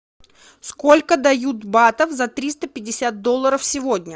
сколько дают батов за триста пятьдесят долларов сегодня